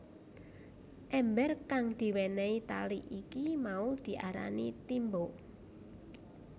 Èmbér kang diwénéhi tali iki mau diarani timba